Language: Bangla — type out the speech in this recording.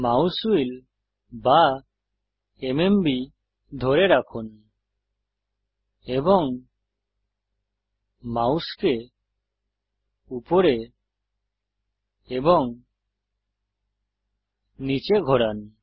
মাউস হুইল বা এমএমবি ধরে রাখুন এবং মাউসকে উপরে এবং নীচে ঘোরান